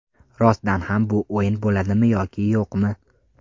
Rostdan ham bu o‘yin bo‘ladimi yoki yo‘qmi?